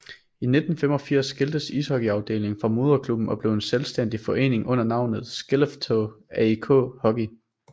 I 1985 skiltes ishockeyafdelingen fra moderklubben og blev en selvstændig forening under navnet Skellefteå AIK Hockey